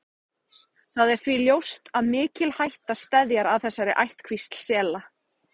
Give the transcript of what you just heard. Það er því ljóst að mikil hætta steðjar að þessari ættkvísl sela.